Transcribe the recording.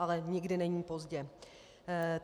Ale nikdy není pozdě.